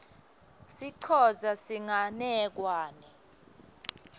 sicosa tinganekwane